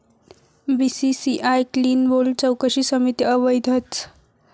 BCCI 'clean bowled' चौकशी समिती अवैधच!